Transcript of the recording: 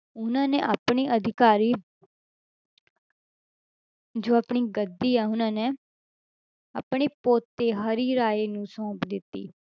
ਉਹਨਾਂ ਨੇ ਆਪਣੇ ਅਧਿਕਾਰੀ ਜੋ ਆਪਣੀ ਗੱਦੀ ਆ ਉਹਨਾਂ ਨੇ ਆਪਣੇ ਪੋਤੇ ਹਰਿਰਾਏ ਨੂੰ ਸੋਂਪ ਦਿੱਤੀ।